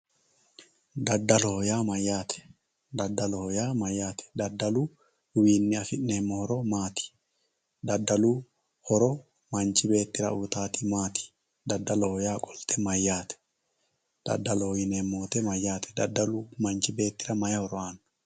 daddaloho yaa mayaate daddaloho yaa mayaate daddaluwiini afi'neemo horo maati daddalu horo manchi beettira uyiitaati maati daddaloho yaa qolte mayaate daddaloho yineemo woyiite mayaate daddalu manchi beettira mayi horo aano